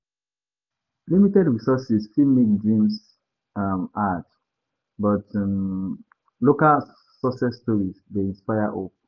Limited resources fit make dreams um hard, but um local success stories dey inspire hope.